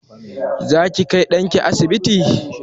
Zaki kai ɗanki asibiti?